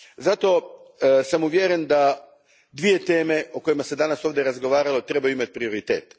Zato sam uvjeren da dvije teme o kojima se danas ovdje razgovaralo trebaju imati prioritet.